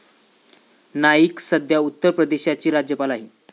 नाईक सध्या उत्तर प्रदेशाची राज्यपाल आहेत.